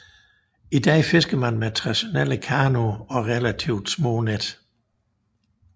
I dag fisker man med traditionelle kanoer og relativt små net